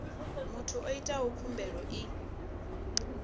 muthu o itaho khumbelo i